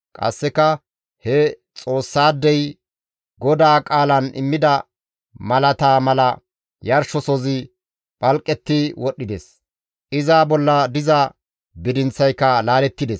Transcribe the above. Qasseka he Xoossaadey GODAA qaalan immida malataa mala yarshosozi phalqetti wodhdhides; iza bolla diza bidinththayka laalettides.